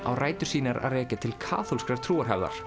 á rætur sínar að rekja til kaþólskrar